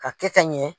Ka kɛ ka ɲɛ